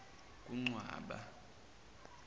kuncwaba